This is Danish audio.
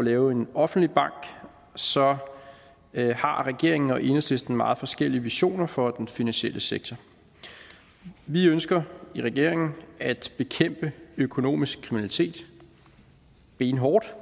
lave en offentlig bank så har regeringen og enhedslisten meget forskellige visioner for den finansielle sektor vi ønsker i regeringen at bekæmpe økonomisk kriminalitet benhårdt